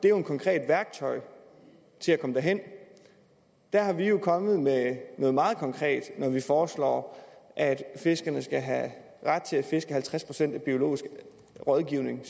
er et konkret værktøj til at komme derhen der er vi jo kommet med noget meget konkret når vi foreslår at fiskerne skal have ret til at fiske halvtreds procent af biologiske rådgivning